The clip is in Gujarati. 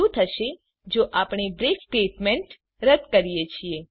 હવે ચાલો જોઈએ શું થશે જો આપણે બ્રેક સ્ટેટમેન્ટ રદ કરીએ છીએ